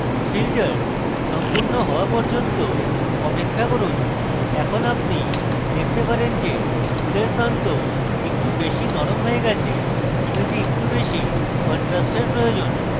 filter সম্পূর্ণ হওয়া পর্যন্ত অপেক্ষা করুন এবং এখন আপনি দেখতে পারেন যে ফুলের প্রান্ত একটু বেশি নরম হয়ে গেছে এবং আমার মনে হয় image একটু বেশী contrast প্রয়োজন